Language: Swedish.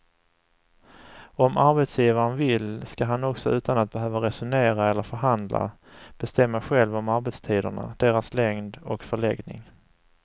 Om arbetsgivaren vill ska han också utan att behöva resonera eller förhandla bestämma själv om arbetstiderna, deras längd och förläggning.